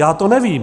Já to nevím.